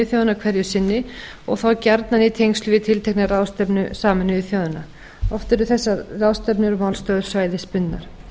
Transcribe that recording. þjóðanna hverju sinni og þá gjarnan í tengsl við tiltekna ráðstefnu sameinuðu þjóðanna oft eru þessar ráðstefnur svæðisbundnar